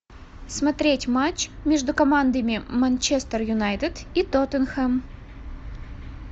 смотреть матч между командами манчестер юнайтед и тоттенхэм